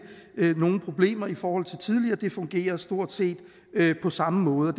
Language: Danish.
er nogen problemer i forhold til tidligere det fungerer stort set på samme måde